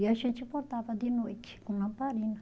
E a gente bordava de noite com lamparina.